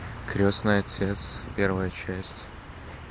крестный отец первая часть